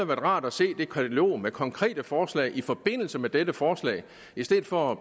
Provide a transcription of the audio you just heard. været rart at se det katalog med konkrete forslag i forbindelse med dette forslag i stedet for at